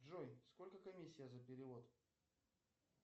джой сколько комиссия за перевод